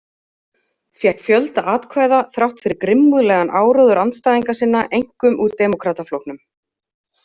Fékk fjölda atkvæða þrátt fyrir grimmúðlegan áróður andstæðinga sinna, einkum úr Demókrataflokknum.